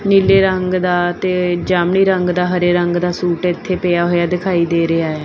ਨੀਲੇ ਰੰਗ ਦਾ ਤੇ ਜਾਮਨੀ ਰੰਗ ਦਾ ਹਰੇ ਰੰਗ ਦਾ ਸੂਟ ਇੱਥੇ ਪਿਆ ਹੋਇਆ ਦਿਖਾਈ ਦੇ ਰਿਹਾ ਹੈ।